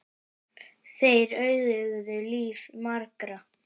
Þeir auðguðu líf margra.